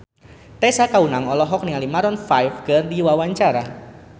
Tessa Kaunang olohok ningali Maroon 5 keur diwawancara